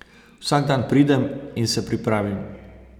Vsak dan pridem in se pripravim.